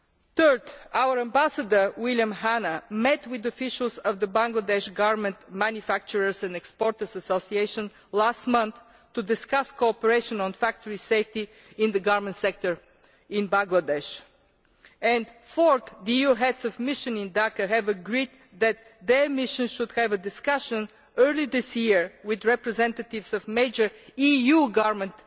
Thirdly, our Ambassador, William Hanna, met with officials of the Bangladesh Garment Manufacturers and Exporters Association last month to discuss cooperation on factory safety in the garment sector in Bangladesh. Fourthly, the EU Heads of Mission in Dhaka have agreed that their missions should have a discussion in early 2013 with representatives of major EU garment